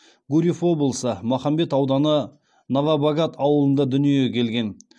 гурьев облысы махамбет ауданы новобогат ауылында дүниеге келген